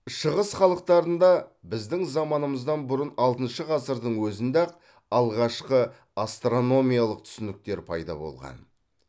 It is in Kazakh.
шығыс халықтарында біздің заманымыздан бұрын алтыншы ғасырдың өзінде ақ алғашқы астрономиялық түсініктер пайда болған